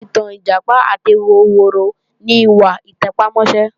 Ẹ̀kọ́ ìtàn Ìjàpá àti ehoro ni ìwà àtẹpámọ́sẹ́